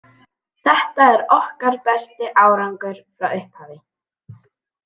Þetta er okkar besti árangur frá upphafi.